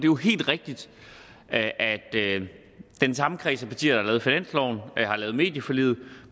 jo helt rigtigt at at det er den samme kreds af partier der har lavet finansloven der har lavet medieforliget